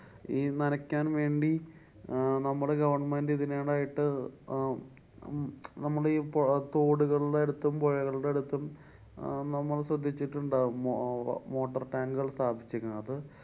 ഈ നനക്കാന്‍ വേണ്ടി അഹ് നമ്മടെ government ഇതിനോടായിട്ടു അഹ് നമ്മളിപ്പൊ തോടുകള്‍ടെ അടുത്തും പോഴകള്‍ടെ അടുത്തും അഹ് നമ്മള്‍ ശ്രദ്ധിച്ചിട്ടുണ്ടാവും മൊ~ അഹ് motor tank കള്‍ സ്ഥാപിച്ചിക്കുന്നത്. അത്